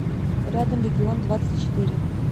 рядом регион двадцать четыре